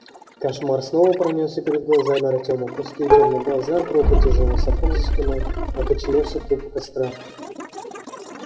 кошмар снова пронёсся перед глазами артёма пустые тёмные глаза грохот тяжёлых сапог за спиной окоченевший труп у костра